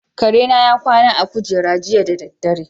Kare na ya kwana a kujera jiya da dare.